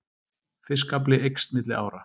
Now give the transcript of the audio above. Fiskafli eykst milli ára